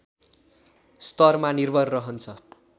स्तरमा निर्भर रहन्छ